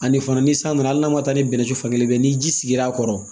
Ani fana ni san nana hali n'a ma taa ni bɛnɛ ji fan kelen fɛ ni ji sigira a kɔrɔ